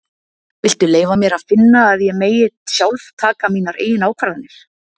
Viltu leyfa mér að finna að ég megi sjálf taka mínar eigin ákvarðanir.